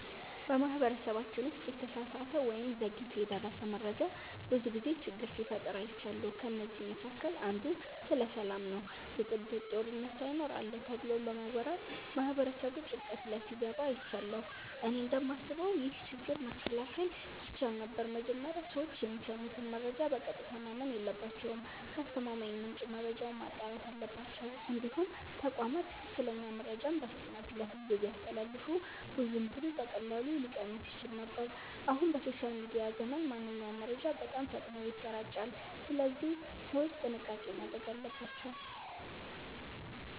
በማህበረሰባችን ውስጥ የተሳሳተ ወይም ዘግይቶ የደረሰ መረጃ ብዙ ጊዜ ችግር ሲፈጥር አይቻለሁ። ከእነዚህ መካከል አንዱ ስለ ሰላም ነው ብጥብጥ፣ ጦርነት ሳይኖር አለ ተብሎ በመወራት ማህበረሰቡ ጭንቀት ላይ ሲገባ አይቻለሁ። እኔ እንደማስበው ይህ ችግር መከላከል ይቻል ነበር። መጀመሪያ ሰዎች የሚሰሙትን መረጃ በቀጥታ ማመን የለባቸውም። ከአስተማማኝ ምንጭ መረጃውን ማጣራት አለባቸው። እንዲሁም ተቋማት ትክክለኛ መረጃን በፍጥነት ለሕዝብ ቢያስተላልፉ ውዥንብሩ በቀላሉ ሊቀንስ ይችል ነበር። አሁን በሶሻል ሚዲያ ዘመን ማንኛውም መረጃ በጣም ፈጥኖ ይሰራጫል፣ ስለዚህ ሰዎች ጥንቃቄ ማድረግ አለባቸው።